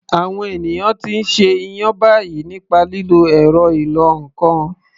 Àwọn ènìyàn ti ń ṣe iyán báyìí nípa lílo ẹ̀rọ ìlọ ǹkan